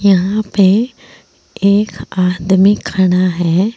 यहां पे एक आदमी खड़ा है।